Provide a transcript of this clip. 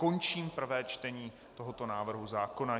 Končím prvé čtení tohoto návrhu zákona.